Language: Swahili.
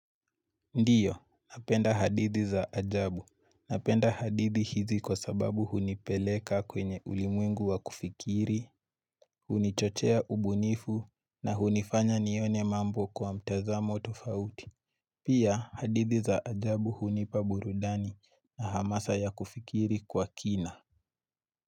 Ndiyo, napenda hadithi za ajabu. Napenda hadithi hizi kwa sababu hunipeleka kwenye ulimwengu wa kufikiri, hunichochea ubunifu na hunifanya nione mambo kwa mtazamo tofauti Pia, hadithi za ajabu hunipa burudani na hamasa ya kufikiri kwa kina.